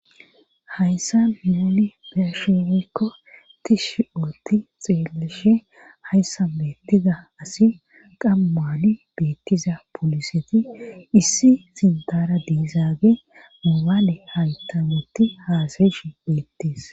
Hayssa muuli besheweykko tishshi ootti xeelishe hayssa bettiza asi qammaali beettiza poliseti issi sintara diizaage mobaale haytametti haasayishe beettis